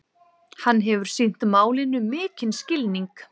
Hann hefur sýnt málinu mikinn skilning